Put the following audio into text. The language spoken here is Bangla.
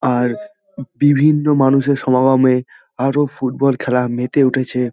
আর বিভিন্ন মানুষের সমাগমে আরো ফুটবল খেলা মেতে উঠেছে।